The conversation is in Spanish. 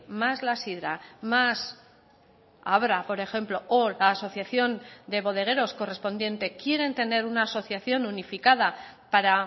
más la sidra más abra por ejemplo o la asociación de bodegueros correspondiente quieren tener una asociación unificada para